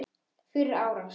Fyrir árás?